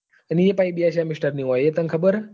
અને એ પણ પાછી બે semester ની હોય એ તને ખબર છે?